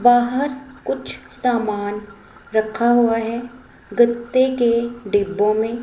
बाहर कुछ सामान रखा हुआ है गत्ते के डिब्बों में।